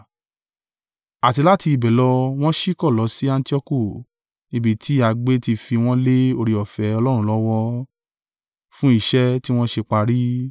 Àti láti ibẹ̀ lọ wọ́n ṣíkọ̀ lọ sí Antioku ní ibi tí a gbé ti fi wọ́n lé oore-ọ̀fẹ́ Ọlọ́run lọ́wọ́, fún iṣẹ́ tí wọ́n ṣe parí.